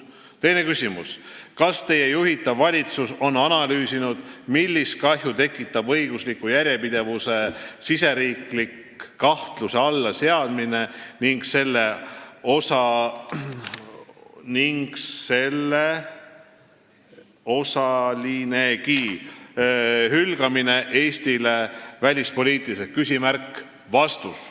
Teine küsimus: "Kas Teie juhitav valitsus on analüüsinud, millist kahju tekitab õigusliku järjepidevuse siseriiklik kahtluse alla seadmine ning selle osalinegi hülgamine Eestile välispoliitiliselt?